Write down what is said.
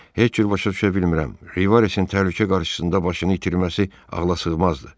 Heç cür başa düşə bilmirəm, Rivaresin təhlükə qarşısında başını itirməsi ağlasığmazdır.